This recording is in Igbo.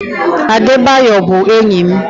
Adebayor bụ enyi m.